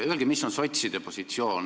Öelge, milline on sotside positsioon.